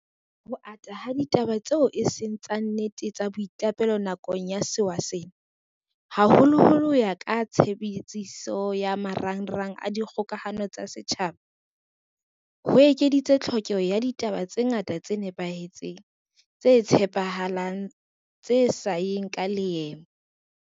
Ho ata ha ditaba tseo eseng tsa nnete tsa boiqapelo nakong ya sewa sena, haholoholo ho ya ka tshebediso ya ma rangrang a dikgokahano tsa setjhaba, ho ekeditse tlhokeho ya ditaba tse ngata tse nepahetseng, tse tshepa halang le tse sa yeng ka leeme.